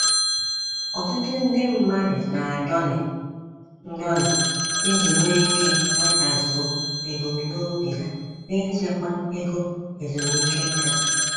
Ọtụtụ ndị mmadụ na-adọlị ndọlị iji nwee ike nwetazuo ebum nobi ha nichekwa ego ezumike nká.